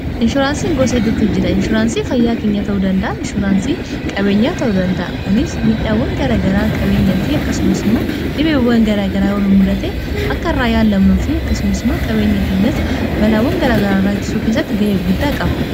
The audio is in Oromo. inshoraansii gosa hiddutu jira inshuraansii fayyaa keenya ta'uu danda'a inshuraansii qabeenyaa ta'uu danda'a kunis midhaawwan garagaraa qabeenyaa fi akkasumas immoo dhibeewwan garaa garaa yoon mudhate akka iraa yaanlamnuu fi akkasumas immoo qabeenya keenyas balaawwan garaagaraaraasu keessatti ga'ee guddaa qaba